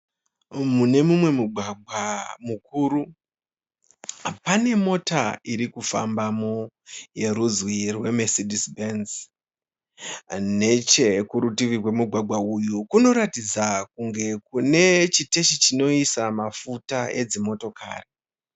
Mune mumwe mugwagwa mukuru. Pane mota iri kufambamo yerudzi rwemesidhisi bhenzi. Nechekurutivi kwemugwagwa uyu kunoratidza kunge kune chiteshi chinoisa mafuta edzimotokari.